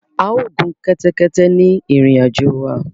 A ò gun kẹ́tẹ́kẹ́tẹ́ ni ìrìn àjò wa